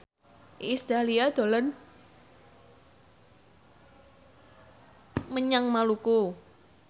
Iis Dahlia dolan menyang Maluku